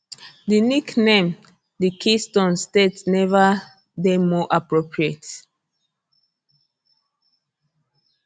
di nickname di keystone state neva dey more appropriate